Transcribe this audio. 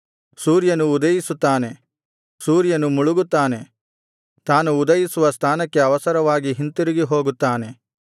ಸೂರ್ಯನು ಉದಯಿಸುತ್ತಾನೆ ಸೂರ್ಯನು ಮುಳುಗುತ್ತಾನೆ ತಾನು ಉದಯಿಸುವ ಸ್ಥಾನಕ್ಕೆ ಅವಸರವಾಗಿ ಹಿಂತಿರುಗಿ ಹೋಗುತ್ತಾನೆ